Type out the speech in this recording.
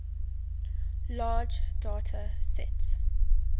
large data sets